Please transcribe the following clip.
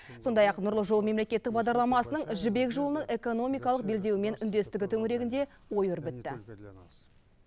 сондай ақ нұрлы жол мемлекеттік бағдарламасының жібек жолының экономикалық белдеуімен үндестігі төңірегінде ой өрбітті